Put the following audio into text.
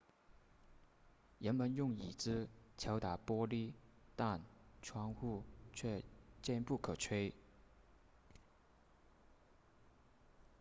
人们用椅子敲打玻璃但窗户却坚不可摧